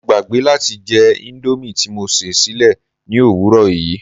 Mo gbàgbé láti jẹ indomie ti mo sè sílé ni òwúrò yii